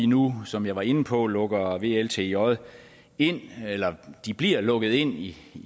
nu som jeg var inde på lukker vltj ind eller de bliver lukket ind i